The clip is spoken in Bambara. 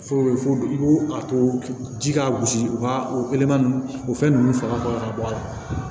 Fo i b'o a to ji ka gosi u ka oleman nunnu o fɛn ninnu faga kɔ ka bɔ a la